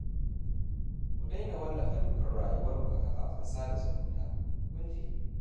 Ku daina wallafa dukkan rayuwarku a kafafen sada zumunta, kun ji?